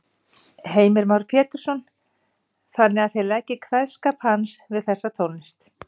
Heimir Már Pétursson: Þannig að þið leggið kveðskap hans við þessa tónlist?